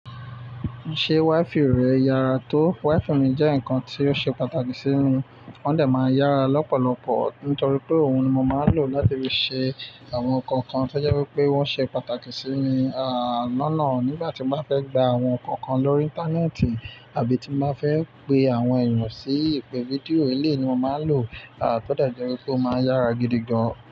Ṣé wáìfì rẹ yára tó? Wáìfì mi jẹ́ nǹkan tó ṣe pàtàkì sí mi, wọ́n dẹ̀ máa ń yára lọ́pọ̀lọpọ̀ nítorí pé òun ni mo máa ń lò láti fi ṣe àwọn ǹkan kan tó jẹ́ wí pé wọ́n ṣe pàtàkì sí mi, àná náà nígbà tí màá fẹ́ gba àwọn ǹkan kan lórí íńtánẹ́ẹ̀tì àbí tí màá fẹ́ pe àwọn ẹ̀yàn sí ìpè fídíò, eléyii ni mo máa ń lò, a tó dé jẹ́ wí pé ó máa ń yára gidi gan.